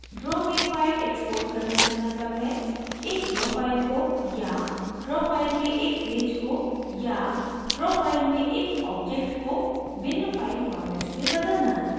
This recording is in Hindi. draw में file exporting करने का मतलब है